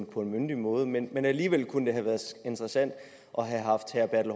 på en myndig måde men alligevel kunne det have været interessant at have haft herre bertel